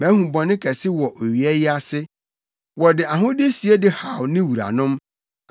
Mahu bɔne kɛse wɔ owia yi ase: wɔde ahode sie de haw ne wuranom,